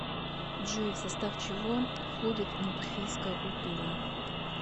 джой в состав чего входит натуфийская культура